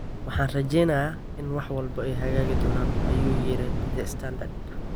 Waxaan rajeyneynaa in wax walba ay hagaagi doonaan, ayuu yiri The Standard.